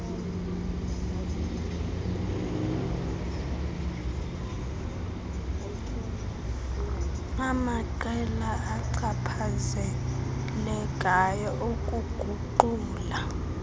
amaqela achaphazelekayo ukuguqula